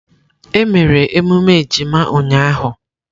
Emere emume ejima ụnyaahụ?